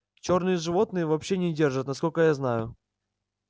чёрные животных вообще не держат насколько я знаю